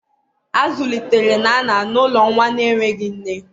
A zụlitere Nana n'ụlọ nwa na-enweghị nne.